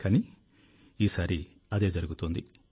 కానీ ఈసారి అదే జరుగుతోంది